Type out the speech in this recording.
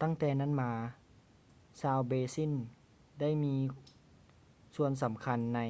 ຕັ້ງແຕ່ນັ້ນມາ ຊາວເບຼຊິນໄດ້ມີສ່ວນສຳຄັນໃນ